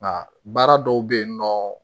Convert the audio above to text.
Nka baara dɔw bɛ yen nɔ